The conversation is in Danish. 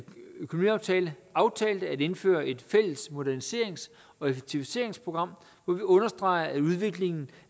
økonomiaftale aftalte at indføre et fælles moderniserings og effektiviseringsprogram hvor vi understreger at udviklingen